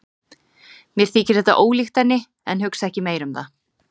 Mér þykir þetta ólíkt henni, en hugsa ekki meira um það.